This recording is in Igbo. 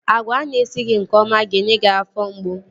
Agwa ana esighị nke ọma ga-enye gị afọ mgbu